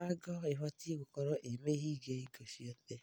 Mĩrango ibatiĩ gũkoragwo ĩ mĩhinge hingo ciothe.